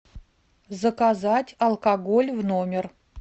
заказать алкоголь в номер